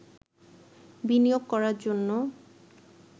বিনিয়োগ করার জন্য